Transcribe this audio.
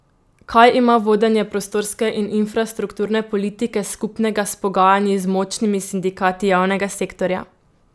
Kaj ima vodenje prostorske in infrastrukturne politike skupnega s pogajanji z močnimi sindikati javnega sektorja?